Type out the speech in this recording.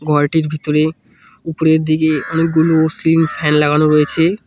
ঘরটির ভিতরে উপরের দিকে অনেকগুলো সিলিং ফ্যান লাগানো রয়েছে।